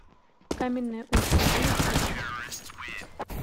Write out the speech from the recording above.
каменное устье можешь включить